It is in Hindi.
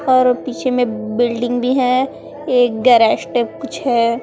और पीछे में बिल्डिंग भी हैं एक गैरेस्टेप कुछ है।